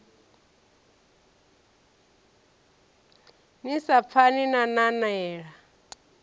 ni sa pfani na nanela